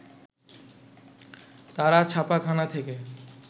তারা ছাপাখানা থেকে